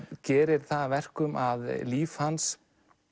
gerir það að verkum að líf hans